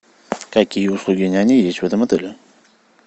какие услуги няни есть в этом отеле